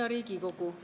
Hea Riigikogu!